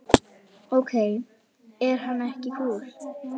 Ok, er hann ekki kúl?